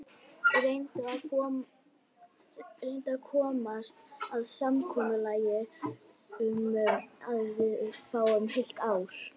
Reyndu að komast að samkomulagi um að við fáum heilt ár.